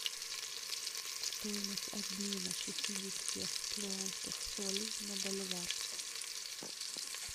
стоимость обмена шестидесяти перуанских солей на боливар